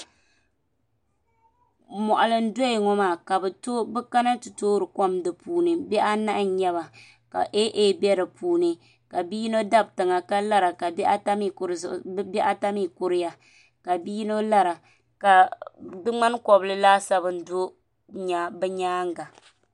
Moɣali n doya ŋo maa ka bi kana ti toori kom di puuni bihi anahi n nyɛba ka aa bɛ di puuni ka bia yino dabi tiŋa ka lara ka bihi ata mii kuriya ka bia yino lara ka di ŋmani kobli laasabu n do bi nyaanga